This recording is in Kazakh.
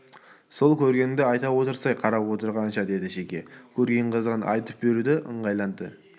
сол көргеніңді айта отырсай қарап отырғанша деді шеге көрген қызығын айтып беруге ыңғайланды жарайды